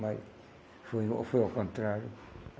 Mas foi ao foi ao contrário.